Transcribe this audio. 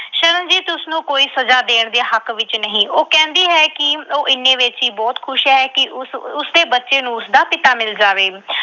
ਸ਼ਰਨਜੀਤ ਉਸਨੂੰ ਕੋਈ ਸਜਾ ਦੇਣ ਦੇ ਹੱਕ ਵਿੱਚ ਨਹੀਂ। ਉਹ ਕਹਿੰਦੀ ਹੈ ਕਿ ਉਹ ਇੰਨੇ ਵਿੱਚ ਹੀ ਬਹੁਤ ਖੁਸ਼ ਹੈ ਕਿ ਉਸ ਅਹ ਉਸਦੇ ਬੱਚੇ ਨੂੰ ਉਸਦਾ ਪਿਤਾ ਮਿਲ ਜਾਵੇ।